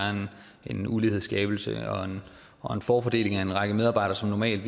en ulighedskabelse og en forfordeling fordi en række medarbejdere normalt